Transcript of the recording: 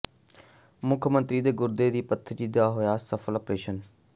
ਮੁੱਖ ਮੰਤਰੀ ਦੇ ਗੁਰਦੇ ਦੀ ਪੱਥਰੀ ਦਾ ਹੋਇਆ ਸਫਲ ਅਪਰੇਸ਼ਨ